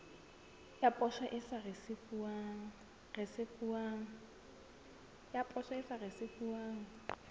ya poso e sa risefuwang